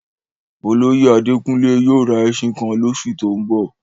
Olóyè Àdékúnlé yóò rá èṣin kan lọsù tó n bọ̀?